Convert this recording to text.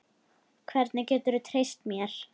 Hvernig geturðu treyst mér?